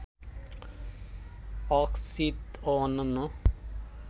অক্সিতঁ ও অন্যান্য